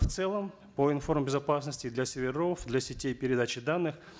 в целом по информ безопасности для серверов для сетей передачи данных